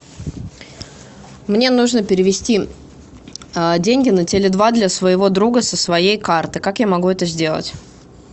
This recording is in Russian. мне нужно перевести деньги на теле два для своего друга со своей карты как я могу это сделать